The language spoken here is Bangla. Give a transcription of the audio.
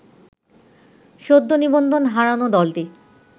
সদ্য নিবন্ধন হারানো দলটি